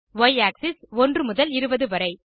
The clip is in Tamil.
ய் ஆக்ஸிஸ் 1 முதல் 20 வரை